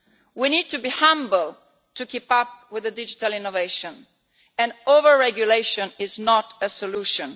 We need to be humble to keep up with digital innovation, and overregulation is not a solution.